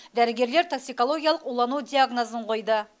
дәрігерлер токсикологиялық улану диагнозын қойды